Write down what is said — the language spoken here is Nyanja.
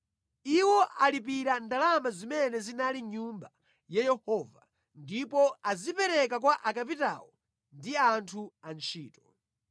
Iwo alipira ndalama zimene zinali mʼNyumba ya Yehova ndipo azipereka kwa akapitawo ndi anthu antchito.”